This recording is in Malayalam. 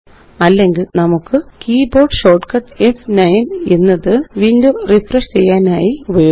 അല്ലെങ്കില് നമുക്ക് കീബോർഡ് ഷോർട്ട്കട്ട് ഫ്9 എന്നത്window റിഫ്രഷ് ചെയ്യാനായി ഉപയോഗിക്കാം